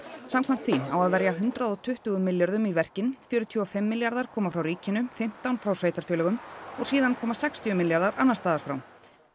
samkvæmt því á að verja hundrað og tuttugu milljörðum í verkin fjörutíu og fimm milljarðar koma frá ríkinu fimmtán frá sveitarfélögunum og síðan koma sextíu milljarðar annarsstaðar frá